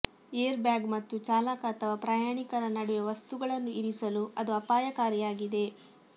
airbag ಮತ್ತು ಚಾಲಕ ಅಥವಾ ಪ್ರಯಾಣಿಕರ ನಡುವೆ ವಸ್ತುಗಳನ್ನು ಇರಿಸಲು ಅದು ಅಪಾಯಕಾರಿಯಾಗಿದೆ